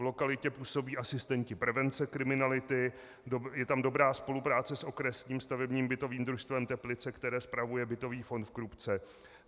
V lokalitě působí asistenti prevence kriminality, je tam dobrá spolupráce s Okresním stavebním bytovým družstvem Teplice, které spravuje bytový fond v Krupce.